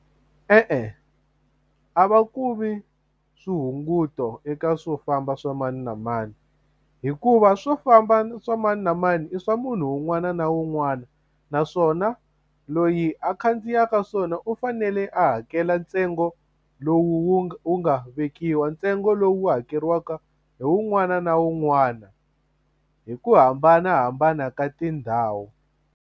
E-e a va ku vi swihunguto eka swofamba swa mani na mani hikuva swo famba swa mani na mani i swa munhu un'wana na un'wana naswona loyi a khandziyaka swona u fanele a hakela ntsengo lowu wu nga wu nga vekiwa ntsengo lowu hakeriwaka hi wun'wana na wun'wana hi ku hambanahambana ka tindhawu.